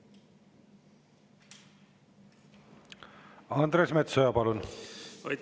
Andres Metsoja, palun!